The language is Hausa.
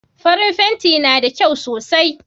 Farin fenti na da kyau sosai